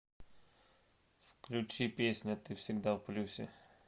включи песня ты всегда в плюсе